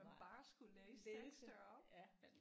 Nej læse ja